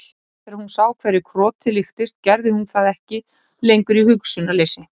Eftir að hún sá hverju krotið líktist gerði hún það ekki lengur í hugsunarleysi.